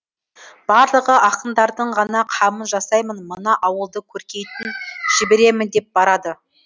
барлығы ақындардың ғана қамын жасаймын мына ауылды көркейтін жіберемін деп барады